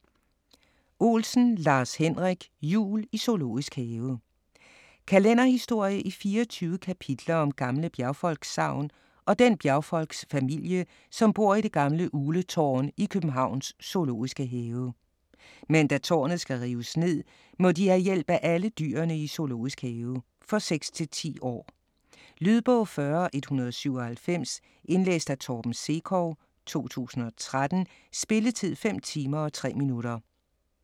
Olsen, Lars-Henrik: Jul i Zoo Kalenderhistorie i 24 kapitler om gamle bjergfolkssagn og den bjergfolksfamilie, som bor i det gamle Ugletårn i Københavns zoo. Men da tårnet skal rives ned, må de have hjælp af alle dyrene i zoo. For 6-10 år. Lydbog 40197 Indlæst af Torben Sekov, 2013. Spilletid: 5 timer, 3 minutter.